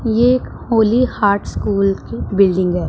ये एक Holy Hearts School की बिल्डिंग है।